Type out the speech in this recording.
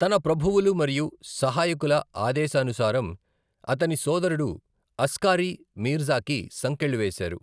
తన ప్రభువులు మరియు సహాయకుల ఆదేశానుసారం అతని సోదరుడు అస్కారీ మీర్జాకి సంకెళ్లు వేశారు.